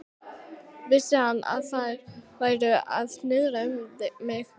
Vissi hann, að þeir væru að snuðra um mig?